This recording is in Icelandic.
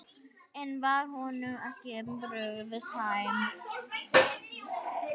En var honum ekki brugðið?